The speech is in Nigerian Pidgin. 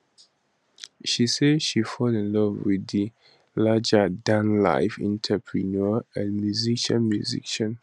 she say she fall in love with di largerdanlife entrepreneur and musician musician